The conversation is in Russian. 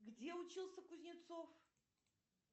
где учился кузнецов